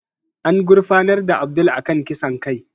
An gurfanar da Abdul a kan kisan kai